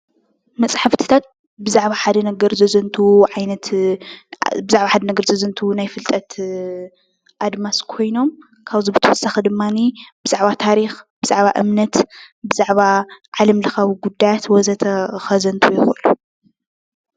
መፅሓፍትታት ብዛዕባ ሓደ ነገር ዘዘንትዉ ናይ ፍልጠት ኣድማስ ኮይኖም ካብዚ ብተወሳኺ ድማኒ ብዛዕባ ታሪኽ ብዛዕባ እምነት ብዛዕባ ዓለም ለኻዊ ጉዳያት ወዘተ ከዘንትዉ ይኽእሉ ።